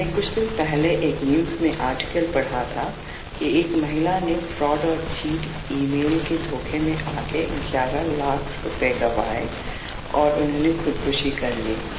मी काही दिवसापूर्वी वर्तमानपत्रात एक लेख वाचला होता की एका महिलेने फसवून आणि खोट्या ईमेलमुळे अकरा लाख रुपये गमावले आणि आत्महत्या केली